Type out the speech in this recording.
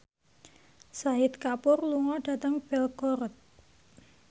Shahid Kapoor lunga dhateng Belgorod